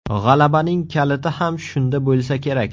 G‘alabaning kaliti ham shunda bo‘lsa kerak.